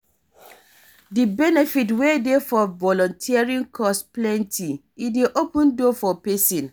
Di benefit wey dey for volunteering cause plenty, e dey open door for pesin.